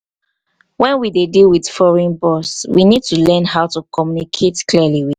when we dey deal with foreign boss we need to learn how to communicate clearly.